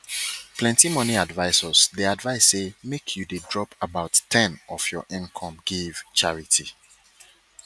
plenty money advisors dey advise say make you dey drop about ten of your income give charity